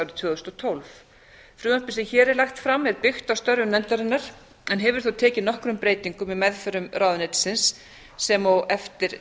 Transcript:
tvö þúsund og tólf frumvarpið sem hér er lagt fram er byggt á störfum nefndarinnar en hefur þó tekið nokkrum breytingum í meðförum ráðuneytisins sem og eftir